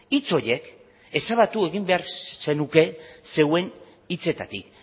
hitz horiek ezabatu egin behar zenuke zeuen hitzetatik